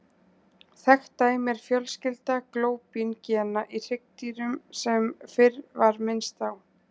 Þekkt dæmi er fjölskylda glóbín-gena í hryggdýrum sem fyrr var minnst á.